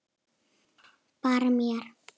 Bara mér.